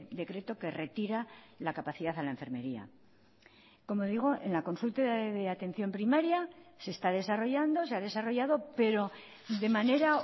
decreto que retira la capacidad a la enfermería como digo en la consulta de atención primaria se está desarrollando se ha desarrollado pero de manera